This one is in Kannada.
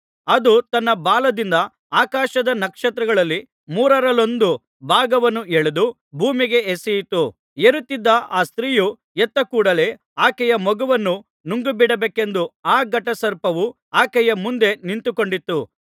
ಅದು ತನ್ನ ಬಾಲದಿಂದ ಆಕಾಶದ ನಕ್ಷತ್ರಗಳಲ್ಲಿ ಮೂರರಲ್ಲೊಂದು ಭಾಗವನ್ನು ಎಳೆದು ಭೂಮಿಗೆ ಎಸೆಯಿತು ಹೆರುತ್ತಿದ್ದ ಆ ಸ್ತ್ರೀಯು ಹೆತ್ತ ಕೂಡಲೇ ಆಕೆಯ ಮಗುವನ್ನು ನುಂಗಿಬಿಡಬೇಕೆಂದು ಆ ಘಟಸರ್ಪವು ಆಕೆಯ ಮುಂದೆ ನಿಂತುಕೊಂಡಿತ್ತು